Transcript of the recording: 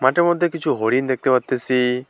মাঠের মধ্যে কিছু হরিণ দেখতে পারতেছি।